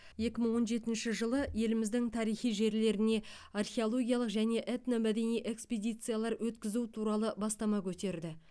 екі мың он жетінші жылы еліміздің тарихи жерлеріне археологиялық және этномәдени экспедициялар өткізу туралы бастама көтерді